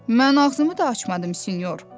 Mən ağzımı da açmadım sinyor.